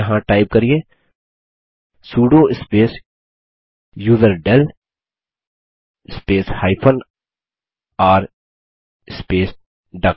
यहाँ टाइप करिये sudo space userdel space r space duck